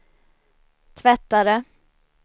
tvättare